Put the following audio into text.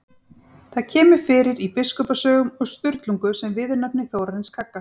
Það kemur fyrir í Biskupasögum og Sturlungu sem viðurnefni Þórarins kagga.